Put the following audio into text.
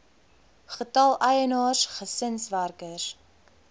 getal eienaars gesinswerkers